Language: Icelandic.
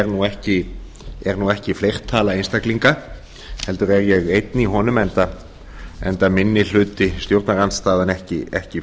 nú ekki fleirtala einstaklinga heldur er ég einn í honum enda minni hluti stjórnarandstöðu ekki fjölmenn þar sem